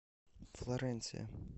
флоренция